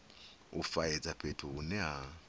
u faedza fhethu hune ha